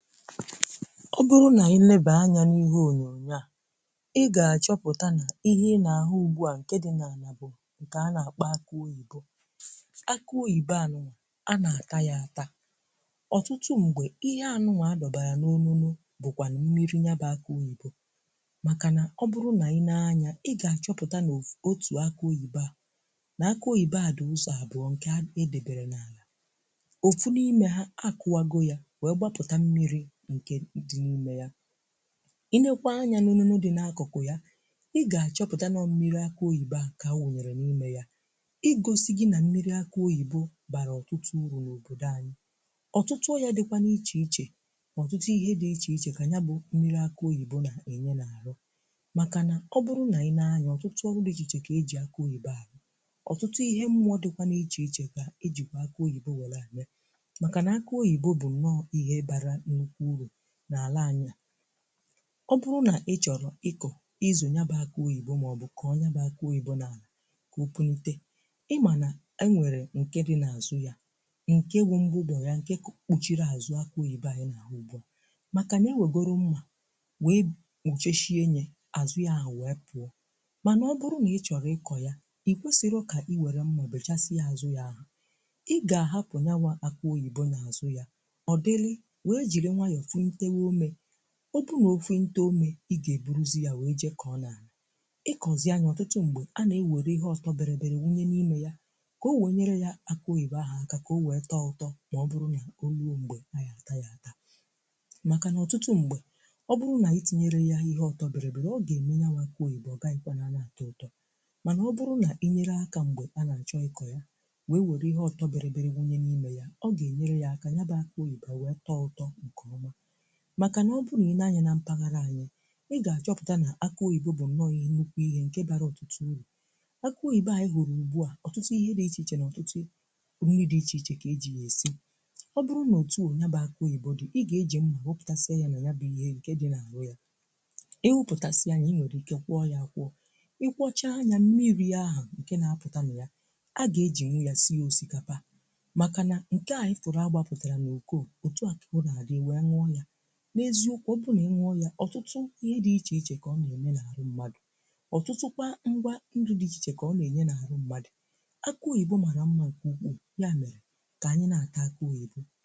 ọ bụrụ nà ị nèba anya n’íhè ọ́nyọ́n̄yọ́ a, ị ga-àchọpụta nà ihe n’ahụ̀ ùgbù a, ńkè dị̀ n’álà bụ̀ ńkè a nà-àkpọ àkụ́ òyìbo. Àkụ́ òyìbo a, um a nà-àta yá àtà ọ̀tụtụ m̀gbè. Ihe ànụ́nwà àdọ̀bàrà n’ọ́nụ́nụ̀ bụ̀kwanụ̀ mmírì nya, bụ̀ àkụ́ òyìbo, makà nà ọ̀ bụrụ nà ị nèé ányà, ị ga-àchọpụta nà òfù otu àkụ́ òyìbo a, nà àkụ́ òyìbo a dị̀ ụ̀zọ̀ àbụ́ọ́ ńkè édèbèrè n’álà. Òfù n’ime yà, ákùwàgò yá wèe gbàpùtà mmírì ńkè dị̀ n’ímé yà. Ị nèkwaa ányà n’ọ́nùnù dị̀ n’àkụ́kù̀ yà, ị ga-àchọpụta nọ̀ọ̀ mmírì àkụ́ òyìbo à kà áwụ́nyèrè n’ímé yà, ịgọ́sị gị́ nà mmírì àkụ́ òyìbo bara ọ̀tụtụ úrù n’òbòdò ányị̀. Ọ̀tụtụ yá dị̀kwa n’ìchè-ìchè, ọ̀tụtụ ihe dị̀ ichè-ichè dị̀ kà nya, bụ̀ mmírì àkụ́ òyìbo nà-ènye n’árụ̀, makà nà ọ̀ bụrụ nà ị lee ányà, ọ̀tụtụ ọ̀rụ̀dị̀ ichè kà e jì àkụ́ òyìbo àrụ̀ ọ̀tụtụ ihe. Mmụ́ọ́ dị̀kwa n’ìchè-ìchè kà e jịkwà àkụ́ òyìbo wèrè àmị́à, makà nà àkụ́ òyìbo bụ̀ nọ̀ọ̀ ihe bàra ńnụ́kwụ́ úrù n’ala ányị̀. Ọ̀ bụrụ nà ị chọ̀rọ̀ ịkọ̀, ịzụ̀, nyaba àkụ́ òyìbo mà ọ̀ bụ̀ kọ́ọ nyá bụ̀ àkụ́ òyìbo a n’álà, kà òpùnítè, ị mà nà e nwèrè ńkè dị̀ n’àzụ́ yà, ńkè bụ̀ m̀gbùgbọ̀ yà, ńkè kpùchírì àzụ́ àkụ́ òyìbo ányị́ n’áhù̀. Makà nà e wègòrò ńmmà wèe pọ́chèshíé ńyè àzụ́ yà wèe pụ́ọ̀, mà nà ọ̀ bụrụ nà ị chọ̀rọ̀ ịkọ̀ yà, ị kwèsịrị ịwèré ńmmà bèchàsị́à àzụ́ yà ahụ̀. Ị gà-àhapụ̀ nyáwà àkụ́ òyìbo n’àzụ́ yà, wèe jiri ńwàyọ̀ pùnítèbè òmè. Ọ̀ bụrụ nà òpùnítè òmè, ị gà-eburùzị ya wèe jè kọ́ nà ịkọ́zị nyá. Ọ̀tụtụ m̀gbè a, nà-èwèrè ihe ọ̀tọ̀ bị̀rìbị̀rì wụ́nyé n’ímé yà, kà ọ wèe ńyèrè yà, bụ̀ àkụ́ òyìbo ahụ̀, ákà kà ọ wèe tọ̀ọ̀ útò. Mà ọ̀ bụrụ nà ọ lùò m̀gbè, a yà-àta yá àtà, makà nà ọ̀tụtụ m̀gbè ọ̀ bụrụ nà ị tìnyèrè yá ihe ọ̀tọ̀ bị̀rìbị̀rì, ọ gà-ème nyáwà bụ̀ àkụ́ òyìbo, ọ gà-àyị́kwà nà a nà-àta ụ́tọ̀. Mà nà ọ̀ bụrụ nà ị ńyèrè ákà m̀gbè a nà ńchọ́ ịkọ́ yà, wèe wèrè ihe ọ̀tọ̀ bị̀rìbị̀rì wụ́nyé n’ímé ya, ọ gà-ènyèrè yá ákà. Nyá bụ̀ àkụ́ òyìbo, kà ọ tọ̀ útò ńkè ọ́má, makà nà ọ̀ bụrụ nà ị nèé ányà nà mpàghàrà ányị̀, ị gà-àchọpụtà nà àkụ́ òyìbo bụ̀ nọ̀ọ̀ ihe ńnụ́kwụ́, ihe ńkè bịàrà ọ̀tụtụ úrù. Àkụ́ òyìbo ányị́ hụ̀rụ̀ ùgbù a, ọ̀tụtụ ihe dị̀ ichè-ichè, nà ọ̀tụtụ ndị dị̀ ichè-ichè kà e jì yá èsị́. Ọ̀ bụrụ nà òtù o nya bè àkụ́ òyìbo dị̀, ị gà-ejì ńmmà họ́pụ́tàsị́à yá nà nyá bụ̀ ihe ńkè dị̀ n’árụ́ yà. Ị wụpụ́tàsị́ nya, ị nwèrè ìké kwọ́ọ yá, ákwụ́ọ̀, ị kwọ́chàà ányà mmírì ahụ́ ńkè nà-àpụ́tà-mị̀ yà. A gà-ejì ńwụ̀ yá sị́ ósìkàpà, makà nà ńkè à ányị́ fụ̀rụ̀ àgbàpùtàrà n’ùkò o otu a, kà ọ nà-àdị́ e nwèe ñnùọ̀ yà. na eziokwu Ọ̀ bụrụ nà ìñyụ́ọ yà, ọ̀tụtụ ihe dị̀ ichè-ichè kà ọ nà-ènye n’árụ́ mmádụ̀. Ọ̀tụtụkwa ngwa ńdụ́ dị̀ ichè-ichè kà ọ nà-ènye n’árụ́ mmádụ̀. Àkụ́ òyìbo mara ńmmà nke ukwu, ya mèrè, kà ányị́ nà-àka àkụ́ òyìbo.